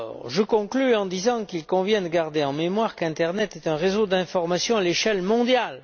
Je conclus en disant qu'il convient de garder en mémoire qu'Internet est un réseau d'information à l'échelle mondiale.